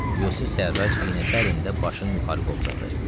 Yusif Sərrac iynəsərində başını yuxarı qovzadı.